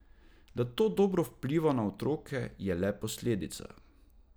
Da to dobro vpliva na otroke, je le posledica.